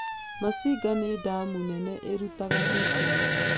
Masinga nĩ damu nene ĩrutaga thitima.